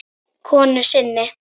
konu sinni.